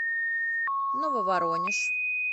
нововоронеж